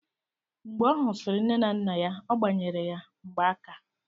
Mgbe ọ husiri nne na nna ya, ọ gbanyere ya mgbaaka